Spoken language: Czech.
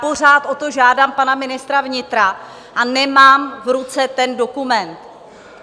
Pořád o to žádám pana ministra vnitra a nemám v ruce ten dokument.